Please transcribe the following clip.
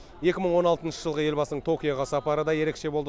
екі мың он алтыншы жылғы елбасының токиоға сапары да ерекше болды